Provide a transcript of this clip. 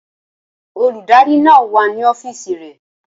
Olùdarí náà wà ní ọ́fíìsì rẹ̀